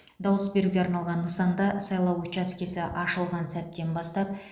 дауыс беруге арналған нысанда сайлау учаскесі ашылған сәттен бастап